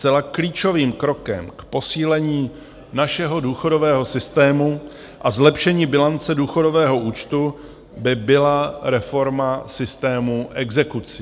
Zcela klíčovým krokem k posílení našeho důchodového systému a zlepšení bilance důchodového účtu by byla reforma systému exekucí.